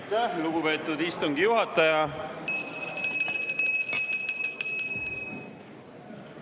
Aitäh, lugupeetud istungi juhataja!